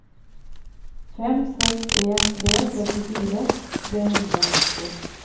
fem seks en tre trettifire tre hundre og nitti